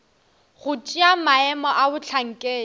go tšea maemo a bohlankedi